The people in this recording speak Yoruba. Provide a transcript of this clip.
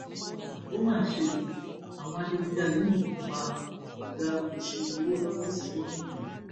ó mà ṣe o àwọn adigunjalè yìnbọn pa ọgá olùṣirò owó lọfíìsì gómìnà ogun